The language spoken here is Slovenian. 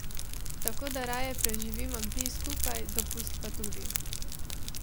Tako da raje preživimo dni skupaj, dopust pa tudi.